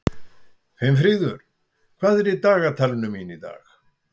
Finnfríður, hvað er í dagatalinu mínu í dag?